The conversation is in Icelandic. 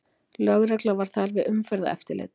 Lögregla var þar við umferðareftirlit